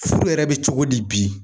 Furu yɛrɛ be cogo di bi